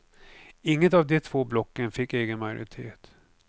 Inget av de två blocken fick egen majoritet.